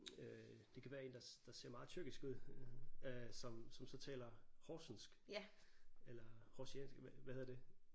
Øh det kan være en der der ser meget tyrkisk ud øh som som så taler horsensk eller horsensiansk hvad hedder det